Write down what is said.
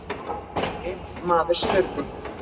Einn maður spurði